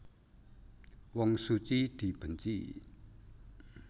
Wong suci dibenci